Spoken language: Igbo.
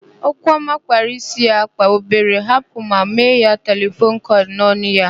Okwuọma kpara ísí a na-akpa obere ahapụ ma mee ya telefon kọịl n'ọnụ ya.